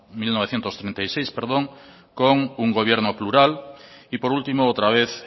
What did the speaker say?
mil novecientos treinta y seis con un gobierno plural y por último otra vez